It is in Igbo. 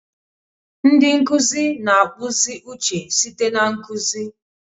Ndi nkuzi na-akpụzi uche site na nkuzi.